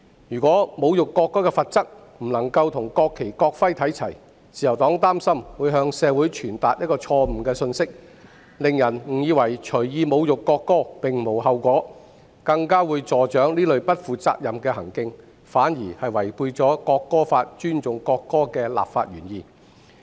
如果侮辱國歌的罰則不能與國旗及國徽看齊，自由黨擔心會向社會傳達一個錯誤的信息，令人誤以為隨意侮辱國家並無後果，更會助長這類不負責任的行徑，反而違背《國歌法》尊重國歌立法的原意。